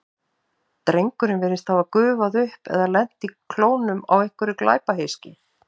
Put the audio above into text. Drengurinn virðist hafa gufað upp eða lent í klónum á einhverju glæpahyski.